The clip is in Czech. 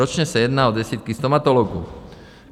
Ročně se jedná o desítky stomatologů.